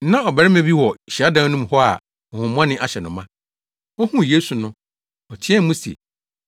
Na ɔbarima bi wɔ hyiadan no mu hɔ a honhommɔne ahyɛ no ma. Ohuu Yesu no, ɔteɛɛ mu se,